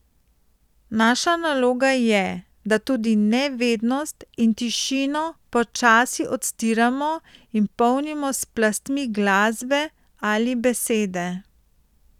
Naša naloga je, da tudi nevednost in tišino počasi odstiramo in polnimo s plastmi glasbe ali besede.